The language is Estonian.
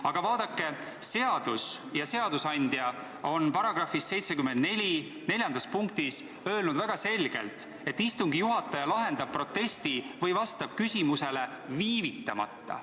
Aga vaadake, seadus ja seadusandja on § 74 lõikes 4 öelnud väga selgelt, et istungi juhataja lahendab protesti või vastab küsimusele viivitamata.